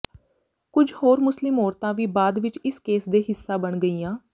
ਕੁਝ ਹੋਰ ਮੁਸਲਿਮ ਔਰਤਾਂ ਵੀ ਬਾਅਦ ਵਿੱਚ ਇਸ ਕੇਸ ਦੇ ਹਿੱਸਾ ਬਣ ਗਈਆਂ